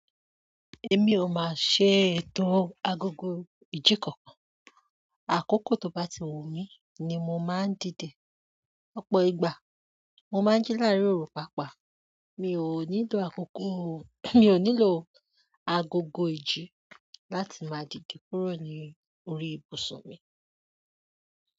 Èmi ò máa ṣe ètò agogo ìjíkàn. Àkókò tó bá ti wù mí ni mo máa ń dìde. Ọ̀pọ̀ ìgbà mo máa ń jí láàárín òru pàápàá. Mi o nílò agogo iji làti maa dide kúrò ni orí ibusu mi.